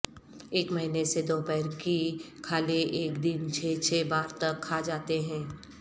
ایک مہینے سے دوپہر کی کھالیں ایک دن چھ چھ بار تک کھا جاتے ہیں